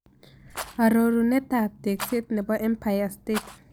Aroruneetap tekseet ne po empire state